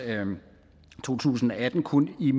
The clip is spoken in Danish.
to tusind og atten kun i